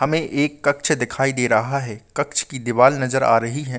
हमे एक कक्ष दिखाई दे रहा है कक्ष की दीवाल नज़र आ रही हैं।